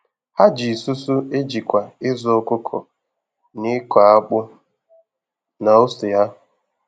Ha ji isusu e jikwa ịzụ ọkụkọ, na ịkọ akpụ na ose ha